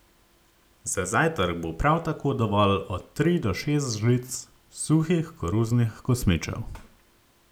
Za zajtrk bo prav tako dovolj od tri do šest žlic suhih koruznih kosmičev.